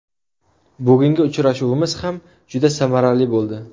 Bugungi uchrashuvimiz ham juda samarali bo‘ldi.